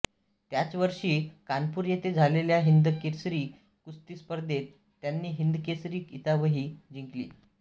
त्याच वर्षी कानपूर येथे झालेल्या हिंदकेसरी कुस्ती स्पर्धेत त्यांनी हिंदकेसरी किताबही जिंकला